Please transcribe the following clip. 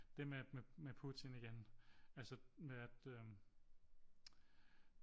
Det med Putin igen altså med at øh